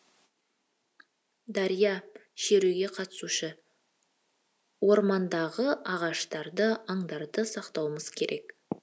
дария шеруге қатысушы ормандағы ағаштарды аңдарды сақтауымыз керек